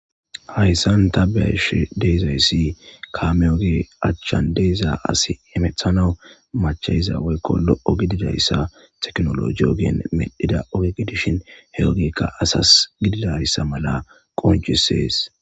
Hayssan tabeash deizayssi kameoge achchan deizaa asi emethanau machayiza woykko lo'o gididayssa teknolo jiogeen medhida ogege dishin he ogekka asas gididayssa mala qoncisees.